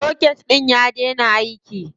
Soket ɗin ya daina aiki.